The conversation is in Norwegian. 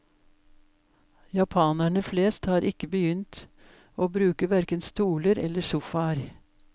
Japanere flest har ikke begynt å bruke hverken stoler eller sofaer.